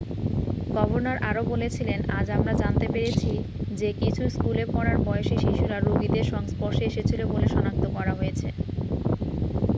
"""Governor আরও বলেছিলেন """আজ আমরা জানতে পেরেছি যে কিছু স্কুলেপড়ার বয়সি শিশুরা রোগীদের সংস্পর্শে এসেছিল বলে সনাক্ত করা হয়েছে।""""""